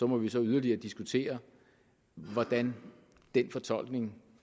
må vi så yderligere diskutere hvordan den fortolkning